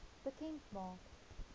bekend maak